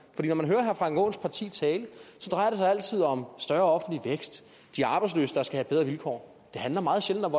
for når man hører herre frank aaens parti tale drejer det sig altid om større offentlig vækst de arbejdsløse der skal have bedre vilkår det handler meget sjældent